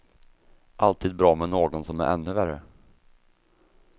Alltid bra med någon som är ännu värre.